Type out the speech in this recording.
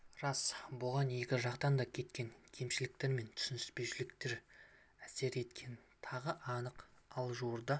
рас бұған екі жақтан да кеткен кемшіліктер мен түсініспеушіліктер әсер еткені тағы анық ал жуырда